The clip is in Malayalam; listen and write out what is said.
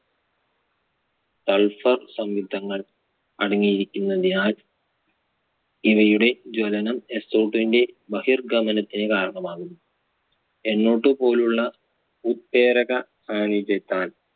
sulphur സംയുക്തങ്ങൾ അടങ്ങിയിരിക്കുന്നതിനാൽ ഇവയുടെ ജ്വലനം so two വിന്റെ മഹിർഗമനത്തിന് കാരണമാകുന്നു. NOtwo പോലുള്ള ഉത്തേരക സാന്നിധ്യത്താൽ